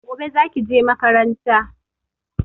Gobe zaki je makaranta